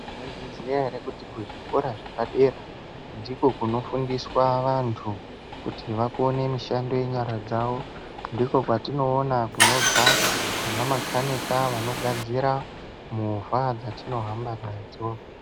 Mwaizviziya ere kuti kuzvikora zvepadera ndiko kunofundiswa vantu kuti vakone mishando yenyara dzavo, ndikwo kwetinoona kunobve ana makhanika, vanogadzira movha dzatinohamba nadzo.